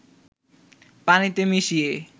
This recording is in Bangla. পানিতে মিশিয়ে